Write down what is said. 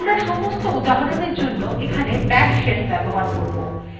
আমরা সমস্ত উদাহরণwe জন্য এখানে bash shell ব্যবহার করব